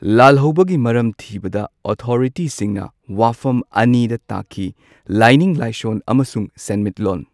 ꯂꯥꯜꯍꯧꯕꯒꯤ ꯃꯔꯝ ꯊꯤꯕꯗ ꯑꯣꯊꯣꯔꯤꯇꯤꯁꯤꯡꯅ ꯋꯥꯐꯝ ꯑꯅꯤꯗ ꯇꯥꯈꯤ ꯂꯥꯢꯅꯤꯡ ꯂꯥꯏꯁꯣꯜ ꯑꯃꯁꯨꯡ ꯁꯦꯟꯃꯤꯠꯂꯣꯟ꯫